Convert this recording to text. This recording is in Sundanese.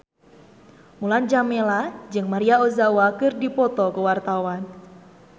Mulan Jameela jeung Maria Ozawa keur dipoto ku wartawan